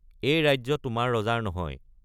এই ৰাজ্য তোমাৰ ৰজাৰ নহয়।